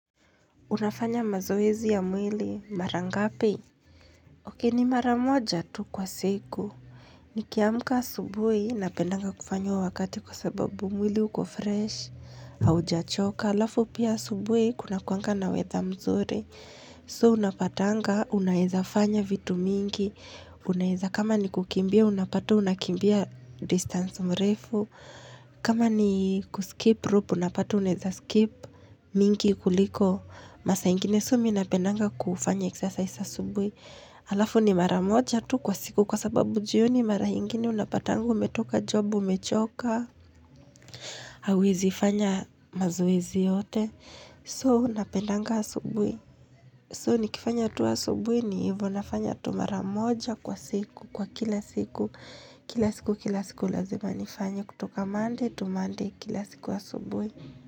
Unafanya mazoezi ya mwili, mara ngapi? Ni mara moja tu kwa siku. Nikiamka asubuhi napendanga kufanya huo wakati kwa sababu mwili uko fresh, haujachoka. Halafu pia asubuhi kunakuwanga na weather mzuri. So, unapatanga, unaeza fanya vitu mingi. Unaeza kama ni kukimbia, unapata, unakimbia distance mrefu. Kama ni kuskip rope, unapata, unaeza skip mingi kuliko. Masaa ingine so mimi napendanga kufanya exercise asubuhi Halafu ni mara moja tu kwa siku kwa sababu jioni mara ingine unapatanga umetoka job umechoka hauwezi fanya mazoezi yote. So napendanga asubuhi. So nikifanya tu asubuhi ni hivo nafanya tu mara moja kwa siku, kwa kila siku Kila siku kila siku lazima nifanye kutoka Monday to Monday, kila siku asubuhi.